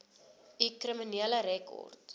u kriminele rekord